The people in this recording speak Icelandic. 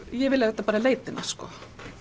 ég vil auðvitað bara leita hennar